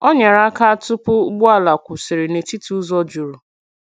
Ọ nyerè aka tụ̀pụ̀ ụgbọ̀ala kwụsịrị n’etiti ụzọ jurù.